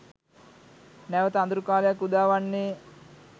නැවත අඳුරු කාලයක් උදාවන්නේ